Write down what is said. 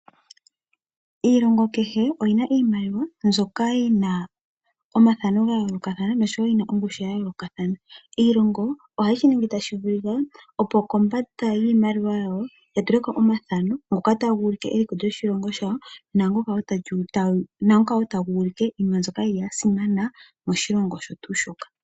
Iilongo oyi na iimaliwa mbyoka yi na omathano noshowo ongushu ya yoolokathana. Iilongo ohayi ningi tashi vulika, opo kombanda ya tule ko omathano ngoka taga ulike eliko lyoshilongo shawo, naa ngoka wo taga ulike iinima mbyoka ya simana moshilongo shoka.